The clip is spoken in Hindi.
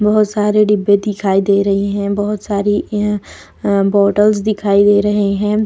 बहुत सारे डिब्बे दिखाई दे रही हैं बहुत सारी एन ए बॉटल्स दिखाई दे रहे हैं।